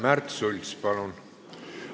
Märt Sults, palun!